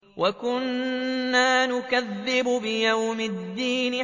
وَكُنَّا نُكَذِّبُ بِيَوْمِ الدِّينِ